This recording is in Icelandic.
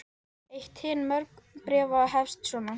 Hreppstjóri Eyrarsveitar var Bjarni Sigurðsson á Berserkseyri.